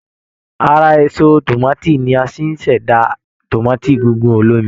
Ara èso tòmátì ni a ti ṣẹ̀dá tòmátì gígùn olómi